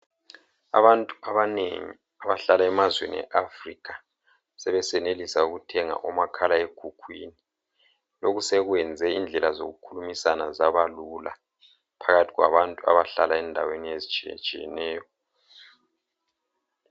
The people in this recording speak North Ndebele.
Abantu abanengi abahlala emazweni e Africa sebesenelisa ukuthenga umakhala ekhukhwini lokhu sekwenze indlela zokukhulumisana zaba lula phakathi kwabantu abahlala endaweni ezitshiyetshiyeneyo